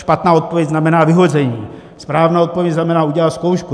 Špatná odpověď znamená vyhození, správná odpověď znamená udělat zkoušku.